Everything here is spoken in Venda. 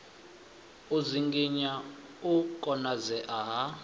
u dzinginya u konadzea ha